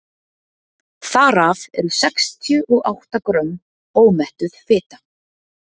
þar af eru sextíu og átta grömm ómettuð fita